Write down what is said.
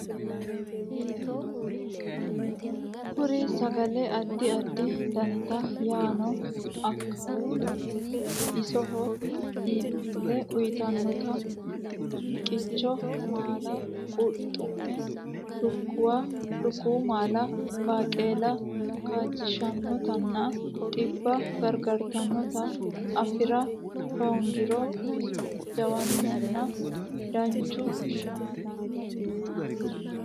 Kuri sagale addi addi danita yaano ikkado bisoho iibbille uytannota miqicho maala qulxu me lukkuwu maala baaqeela kaajjishshannotanna dhibba gargartannota afi ra hoongiro bisu jaawannonna dananchu shaalanno.